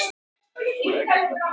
En auðvitað ertu þreyttur.